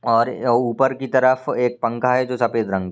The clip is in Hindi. और अ ऊपर की तरफ एक पंखा है जो सफ़ेद रंग--